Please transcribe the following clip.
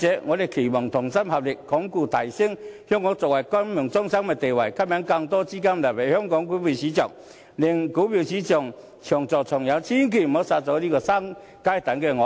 我們期望同心合力，鞏固及提升香港作為國際金融中心的地位，吸引更多資金流入香港股票市場，令股票市場長做長有，千萬不要殺了這隻"會生金蛋的鵝"。